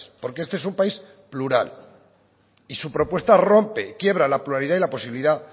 porque este es un país plural y su propuesta rompe quiebra la pluralidad y la posibilidad